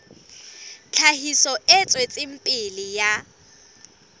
tlhahiso e tswetseng pele ya